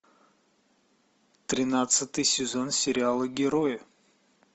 тринадцатый сезон сериала герои